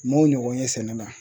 M'o ɲɔgɔn ye sɛnɛ na